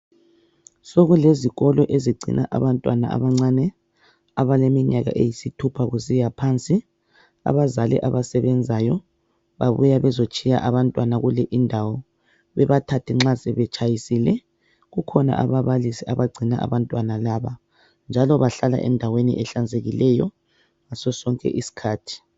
Sokulezikolo ezingcina abantwana abacane abaleminyaka eyisithupha kusiya phansi. Abazali abasebenzayo babuya bezotshiya abantwana kule indawo bebathathe nxa sebetshayisile. Kukhona ababalisi abagcina abantwana laba njalo bahlala endaweni ehlanzekileyo ngaso sonke isikhathi.